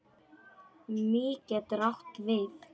Mý getur átt við